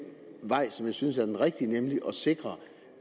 vej som jeg synes er den rigtige nemlig at sikre